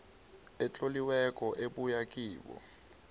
etloliweko ebuya kibo